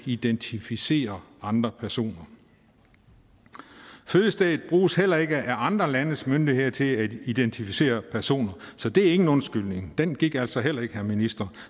identificere andre personer fødestedet bruges heller ikke af andre landes myndigheder til at identificere personer så det er ingen undskyldning den gik altså heller ikke herre minister